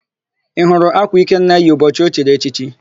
Ị hụrụ ákwà Ikenna yi ụbọchị o chiri echichi?